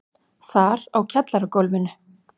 Þar á kjallaragólfinu.